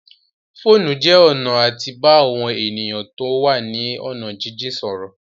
Fóònù jẹ́ ọ̀nà àti bá àwọn èèyàn tó wà ní ọ̀nà jínjìn sọ̀rọ̀